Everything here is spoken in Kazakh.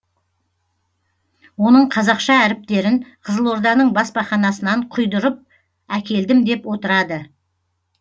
оның қазақша әріптерін қызылорданың баспаханасынан құйдырып әкелдім деп отырады